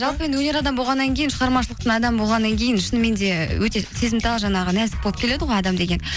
жалпы енді өнер адам болғаннан кейін шығармашылықтың адамы болғаннан кейін шынымен де өте сезімтал жаңағы нәзік болып келеді ғой адам деген